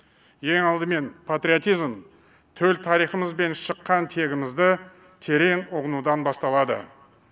ең алдымен патриотизм төл тарихымыз бен шыққан тегімізді терең ұғынудан басталады